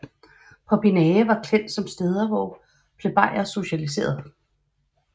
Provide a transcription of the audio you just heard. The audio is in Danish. Popinae var kendt som steder hvor plebejer socialiserede